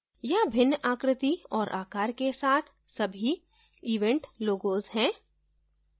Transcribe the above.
यहाँ भिन्न आकृति और आकार के साथ सभी event logos हैं